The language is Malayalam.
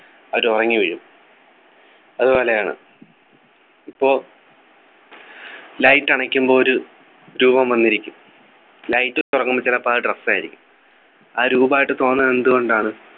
അവര് ഉറങ്ങി വീഴും അതുപോലെയാണ് ഇപ്പൊ light അണയ്ക്കുമ്പോ ഒരു രൂപം വന്നിരിക്കും light തുറക്കുമ്പോ അത് ചിലപ്പോ അത് dress ആയിരിക്കും ആ രൂപായിട്ട് തോന്നുന്നത് എന്ത്‌കൊണ്ടാണ്